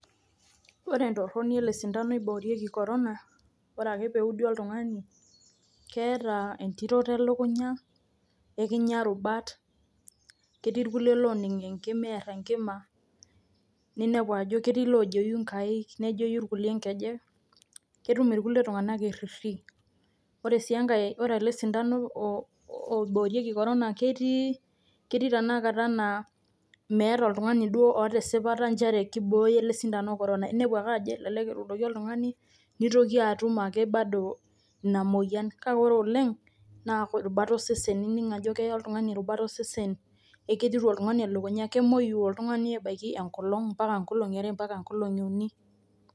Entoroni ele sindano oiboorieki korona, ore ake pee eudi oltungani, keeta entiroto elukunya ,ekinyia rubat, ketii kulie looning enkima eer enkima, ketii kulie oojei nkaik nejei irkulie nkejek, ketum irkulie tunganak erririi, ore sii engae ore ele sindano oiboorieki korona ketii tenakata naa meeta duo oltungani oota esipata nchere keibooyo ele sindano korona inepu ajo kelek etuudoki oltungani neitoki atum ake bado ina moyian kake ore oleng naa rubat osesen ining ajo keya oltungani rubat osesen ketiru oltungani elukunya nejei oltungani ebaiki enkolong abaiki nkolongi are ashu uni.